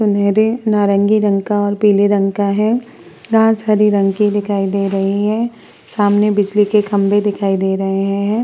सुनहरे नारंगी रंग का और पीले रंग का है घास हरी रंग की दिखाई दे रही है सामने बिजली के खंभे दिखाई दे रहे हैं।